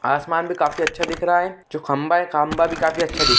आसमान भी काफ़ी अच्छा दिख रहा है जो खम्भा है खम्भा भी काफ़ी अच्छा दिख रहा है।